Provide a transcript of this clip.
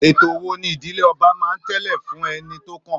Ètò wo ni ìdílé ọba máa ń tẹ̀lé fún ẹni tó kàn?